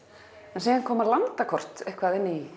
en síðan koma landakort eitthvað inn